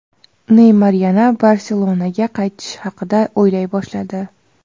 Neymar yana "Barselona"ga qaytish haqida o‘ylay boshladi.